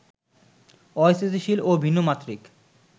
অস্থিতিশীল ও ভিন্ন মাত্রিক